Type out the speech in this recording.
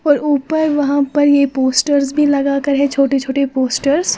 और ऊपर वहां पर ये पोस्टर भी लगाकर है छोटी छोटी पोस्टर्स ।